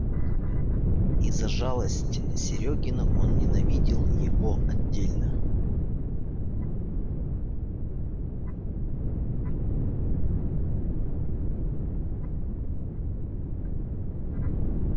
и за жалость серёгину он ненавидел его отдельно